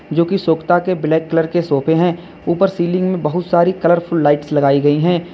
जो की सोखता के ब्लैक कलर के सोफे हैं ऊपर सीलिंग में बहुत सारी कलरफुल लाइट्स लगाई गई हैं।